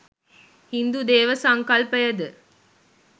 හින්දු දේව සංකල්පයද